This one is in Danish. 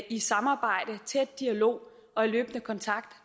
i samarbejde tæt dialog og i løbende kontakt